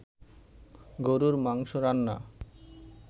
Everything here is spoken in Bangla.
গরুর মাংস রান্না